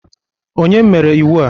Kedu onye mere iwu a?